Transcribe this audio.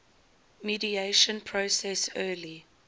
mediation process early